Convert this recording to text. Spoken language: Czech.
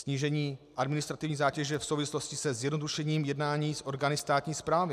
Snížení administrativní zátěže v souvislosti se zjednodušením jednání s orgány státní správy.